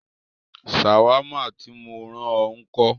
Ṣàwámà tí mó rán ọ ńkọ́?